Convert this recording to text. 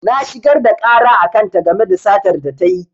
Na shigar da ƙara a kan ta game da satar da tayi